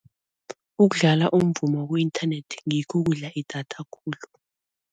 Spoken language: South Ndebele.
Ukudlala umvumo ku-internet ngikho okudla idatha khulu.